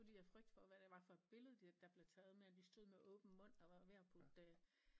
Fordi af frygt for hvad det var for et billede der blev taget med at de stod med åben mund og var ved at putte øh